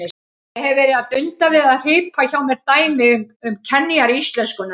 Ég hef verið að dunda við að hripa hjá mér dæmi um kenjar íslenskunnar.